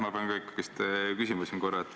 Ma pean ka ikkagi küsima siin korra.